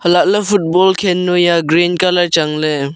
hailahley football khen noi a green colour changley.